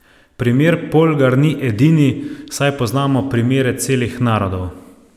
Primer Polgar ni edini, saj poznamo primere celih narodov.